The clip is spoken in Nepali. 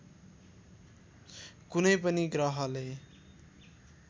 कुनै पनि ग्रहले